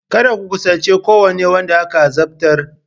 Kada ku kusanci kowane wanda aka azabtar!